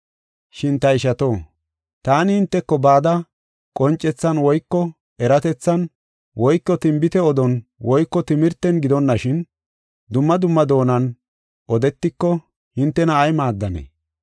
Shin ta ishato, taani hinteko bada, qoncethan woyko eratethan woyko tinbite odon woyko timirten gidonashin, dumma dumma doonan odetiko hintena ay maaddanee?